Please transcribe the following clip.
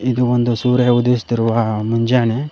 ಇದು ಒಂದು ಸೂರ್ಯ ಉದಯಿಸುತ್ತಿರುವ ಮುಂಜಾನೆ.